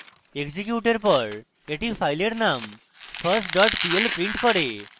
এক্সিকিউটের পর এটি ফাইলের নাম first dot pl print করবে